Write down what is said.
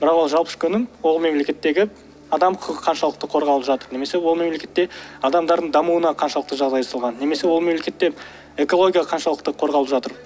бірақ ол жалпы ішкі өнім ол мемлекеттегі адам құқығы қаншалықты қорғалып жатыр немесе ол мемлекетте адамдардың дамуына қаншалықты жағдай жасалған немесе ол мемлекетте экология қаншалықты қорғалып жатыр